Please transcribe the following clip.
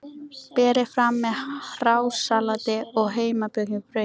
Berið fram með hrásalati og heimabökuðu brauði.